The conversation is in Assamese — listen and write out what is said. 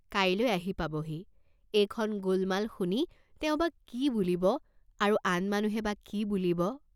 কাইলৈ আহি পাবহি, এইখন গোলমাল শুনি তেওঁ বা কি বুলিব, আৰু আন মানুহে বা কি বুলিব?